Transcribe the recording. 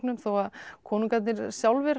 þó að konungarnir sjálfir